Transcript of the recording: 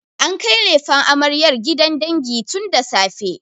An kai lefen amaryar gidan dangi tun da safe.